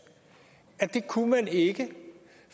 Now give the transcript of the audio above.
at det kunne man ikke